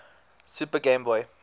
super game boy